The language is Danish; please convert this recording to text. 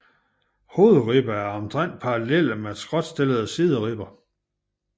Hovedribberne er omtrent parallelle med skråtstillede sideribber